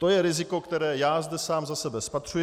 To je riziko, které já zde sám za sebe spatřuji.